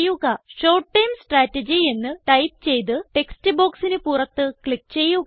short term strategy എന്ന് type ചെയ്ത് text ബോക്സിന് പുറത്ത് ക്ലിക്ക് ചെയുക